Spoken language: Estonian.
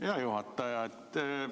Hea juhataja!